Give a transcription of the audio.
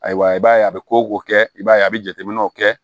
Ayiwa i b'a ye a bɛ ko ko kɛ i b'a ye a bɛ jateminɛw kɛ